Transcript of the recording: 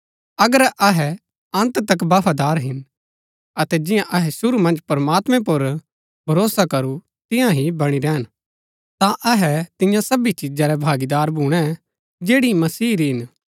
अगर अहै अन्त तक बफादार हिन अतै जियां अहै शुरू मन्ज प्रमात्मैं पुर भरोसा करू तियां ही बणी रैहन ता अहै तियां सबी चिजा रै भागीदार भूणै जैड़ी मसीह री हिन